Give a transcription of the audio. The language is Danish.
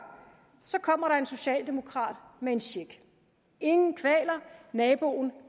kommer der en socialdemokrat med en check ingen kvaler naboen